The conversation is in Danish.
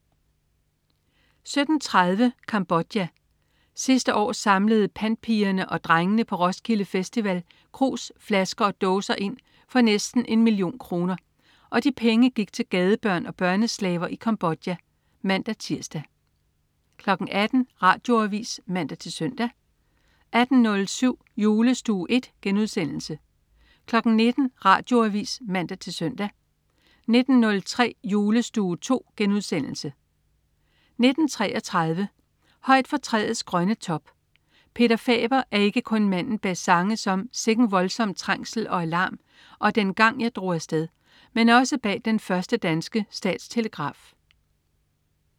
17.30 Cambodja. Sidste år samlede pantpigerne og -drengene på Roskilde Festival krus, flasker og dåser ind for næsten en million kroner, og de penge gik til gadebørn og børneslaver i Cambodja (man-tirs) 18.00 Radioavis (man-søn) 18.07 Julestue I* 19.00 Radioavis (man-søn) 19.03 Julestue II* 19.33 Højt fra træets grønne top. Peter Faber er ikke kun manden bag sange som "Sikken voldsom trængsel og alarm" og "Dengang jeg drog afsted", men også bag den første danske statstelegraf